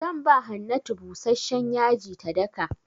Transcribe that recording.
Zan ba Hannatu busashshen yaji ta daka.